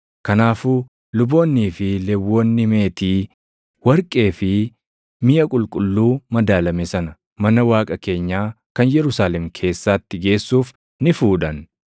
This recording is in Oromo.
Kanaafuu luboonnii fi Lewwonni meetii, warqee fi miʼa qulqulluu madaalame sana mana Waaqa keenyaa kan Yerusaalem keessaatti geessuuf ni fuudhan.